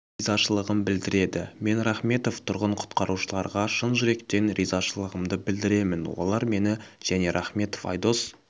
ризашылығын білдіреді мен рахметов тұрғын құтқарушыларға шын жүректен ризашылығымды білдіремін олар мені және рахметов айдос